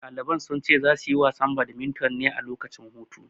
Ɗaliban sun ce za su yi wasan badminton ne a lokacin hutu.